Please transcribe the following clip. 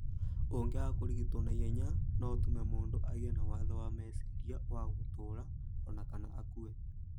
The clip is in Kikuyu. Ũngĩaga kũrigitwo na ihenya, no ũtũme mũndũ agĩe na wathe wa meciria wa gũtũũra o na kana akue.